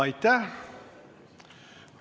Aitäh!